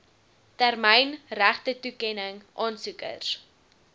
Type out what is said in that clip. termyn regtetoekenning aansoekers